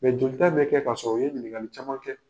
Mais jolita bɛ kɛ ka sɔrɔ u ye ɲininkali caman kɛ